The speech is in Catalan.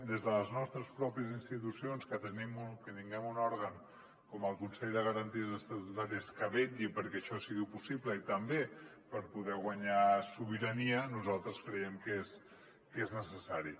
des de les nostres pròpies institucions que tinguem un òrgan com el consell de garanties estatutàries que vetlli perquè això sigui possible i també per poder guanyar sobirania nosaltres creiem que és necessari